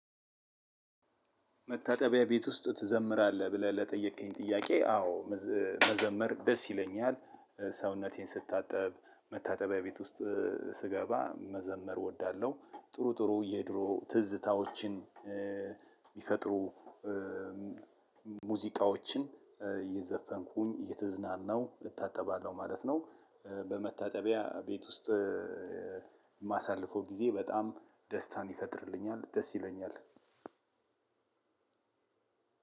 መታጠቢያ ቤት ውስጥ ትዘምራለህ ብለህ ለጠየከኝ ጥያቄ አዎ። መዘመር ደስ ይለኛል ሰውነቴን ስታጠብ መታጠቢያ ቤት ውስጥ ስገባ መዘመር እወዳለሁ። ጥሩ ጥሩ የድሮ ትዝታዎችን ሚፈጥሩ ሙዚቃዎችን እየዘፈንኩኝ እየተዝናናሁ እታጠባለሁ ማለት ነው። በመታጠቢያ ቤት ውስጥ የማሳልፈው ጊዜ በጣም ደስታን ይፈጥርልኛል። ደስ ይለኛል።